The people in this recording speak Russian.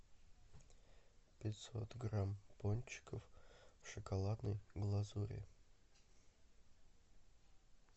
пятьсот грамм пончиков в шоколадной глазури